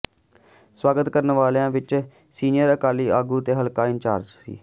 ਸਵਾਗਤ ਕਰਨ ਵਾਲਿਆਂ ਵਿਚ ਸੀਨੀਅਰ ਅਕਾਲੀ ਆਗੂ ਤੇ ਹਲਕਾ ਇੰਚਾਰਜ ਸ